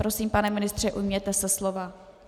Prosím, pane ministře, ujměte se slova.